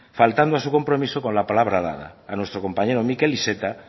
faltando a su compromiso con la palabra dada a nuestro compañero miquel iceta